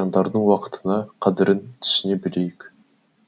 жандардың уақытына қадірін түсіне білейік